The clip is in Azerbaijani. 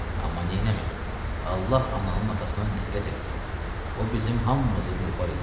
Amma neynəmək, Allah ananın atasına nəhlət eləsin, o bizim hamımızı dilxor eləyibdi.